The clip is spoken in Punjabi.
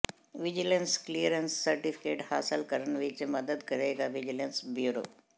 ਵਿਜੀਲੈਂਸ ਕਲੀਅਰੈਂਸ ਸਰਟੀਫਿਕੇਟ ਹਾਸਲ ਕਰਨ ਵਿੱਚ ਮਦਦ ਕਰੇਗਾ ਵਿਜੀਲੈਂਸ ਬਿਊਰੋ